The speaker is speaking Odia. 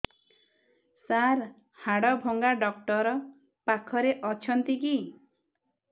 ସାର ହାଡଭଙ୍ଗା ଡକ୍ଟର ପାଖରେ ଅଛନ୍ତି କି